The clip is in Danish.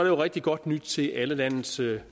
jo rigtig godt nyt til alle landets